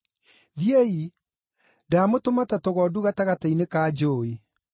Thiĩi! Ndamũtũma ta tũgondu gatagatĩ-inĩ ka njũũi.